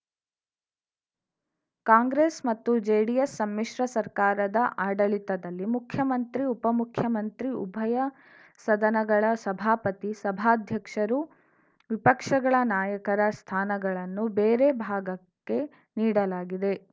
ಕಾಂಗ್ರೆಸ್‌ ಮತ್ತು ಜೆಡಿಎಸ್‌ ಸಮ್ಮಿಶ್ರ ಸರ್ಕಾರದ ಆಡಳಿತದಲ್ಲಿ ಮುಖ್ಯಮಂತ್ರಿ ಉಪಮುಖ್ಯಮಂತ್ರಿ ಉಭಯ ಸದನಗಳ ಸಭಾಪತಿ ಸಭಾಧ್ಯಕ್ಷರು ವಿಪಕ್ಷಗಳ ನಾಯಕರ ಸ್ಥಾನಗಳನ್ನು ಬೇರೆ ಭಾಗಕ್ಕೆ ನೀಡಲಾಗಿದೆ